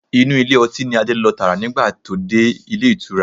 Inú ilé ọtí ni Adé lọ tààrà nígbà tó dé Ilé ìtura.